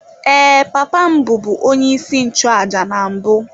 Ee, papa m bụbu onyeisi nchụàjà na mbụ.